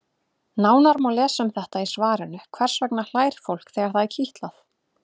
Nánar má lesa um þetta í svarinu Hvers vegna hlær fólk þegar það er kitlað?